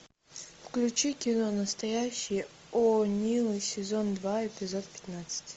включи кино настоящие о нилы сезон два эпизод пятнадцать